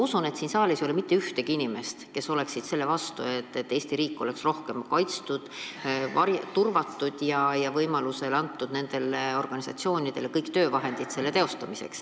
Ma usun, et siin saalis ei ole mitte ühtegi inimest, kes on selle vastu, et Eesti riik oleks rohkem kaitstud, turvatud ja et nendel organisatsioonidel oleks kõik töövahendid selle töö teostamiseks.